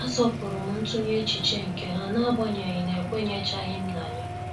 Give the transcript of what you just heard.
A asọpụrụm ntunye echiche nke ha n'agbanyeghị na ekwenyechaghim na ya.